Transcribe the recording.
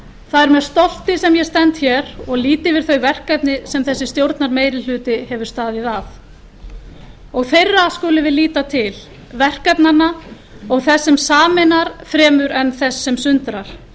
það er með stolti sem ég stend hér og lít yfir þau verkefni sem þessi stjórnarmeirihluti hefur staðið að og þeirra skulum við líta til verkefnanna og þess sem sameinar fremur en þess sem sundrar